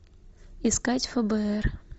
искать фбр